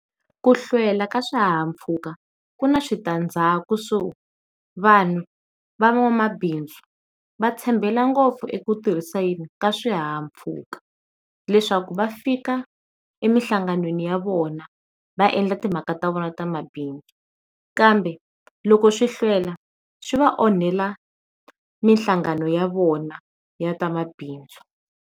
Ku hlwela ka xihahampfhuka ku ni switandzaku kusuhi vanhu van'wamabindzu va tshembela ngopfu eku tirhiseni swihahampfhuka leswaku va fika emihlanganweni ya vona va endla timhaka ta vona ta mabindzu kambe loko swi hlwela swi va onhela minhlangano ya vona ya ta mabindzu.